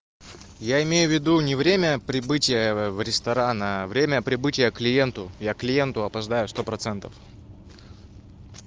я имею в виду не время прибытия в ресторан время прибытия к клиенту я к клиенту опоздаю сто процентов